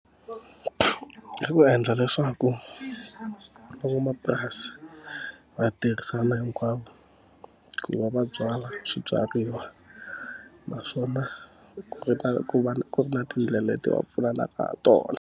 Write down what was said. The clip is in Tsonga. Ku endla leswaku ku van'wamapurasi va tirhisana hinkwavo ku va va byala swibyariwa, naswona ku ri na ku va ku ri na tindlela leti va pfunanaka ha tona.